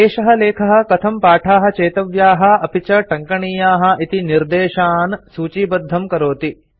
एषः लेखः कथं पाठाः चेतव्याः अपि च टङ्कणीयाः इति निर्देशान् सूचीबद्धं करोति